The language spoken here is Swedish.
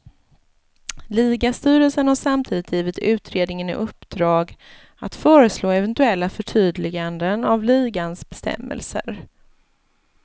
Ligastyrelsen har samtidigt givit utredningen i uppdrag att föreslå eventuella förtydliganden av ligans bestämmelser.